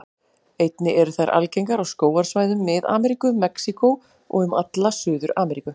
Einnig eru þær algengar á skógarsvæðum Mið-Ameríku, Mexíkó og um alla Suður-Ameríku.